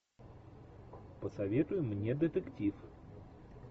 посоветуй мне детектив